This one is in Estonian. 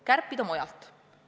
Kärpida võiks mujalt.